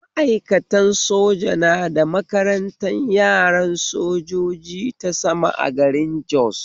Ma'aikatan soja na da makarantan yaran sojoji ta sama a garin Jos